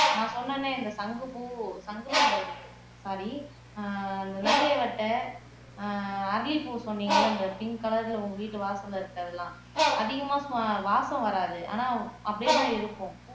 நான் சொன்னேனே இந்த சங்குப்பூ சங்கு பூங்கிறமே சாரி ஆஹ் நந்தியவட்டம் ஆஹ் அரளிப்பூ சொன்னீங்கல்ல இந்த பிங்க் கலர்ல உங்க வீட்டு வாசல்ல இருக்கறதெல்லாம் அதிகமா வாசம் வராது ஆனா அப்படியேதான் இருக்கும்